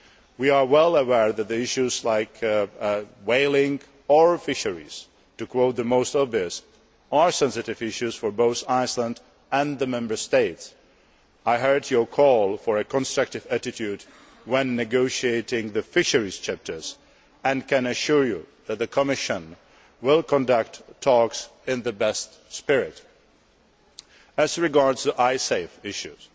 We are well aware that issues such as whaling and fisheries to quote the most obvious are sensitive issues for both Iceland and the Member States. I heard your call for a constructive attitude when negotiating the fisheries chapters, and can assure you that the Commission will conduct talks in the best spirit. As regards the Icesave issues,